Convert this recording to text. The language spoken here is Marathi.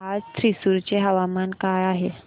आज थ्रिसुर चे हवामान काय आहे